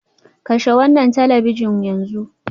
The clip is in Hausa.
Kashe wannan talabijin yanzu.